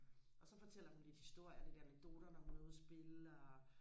og så fortæller hun lidt historier og lidt anekdoter når hun er ude og spille og